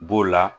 B'o la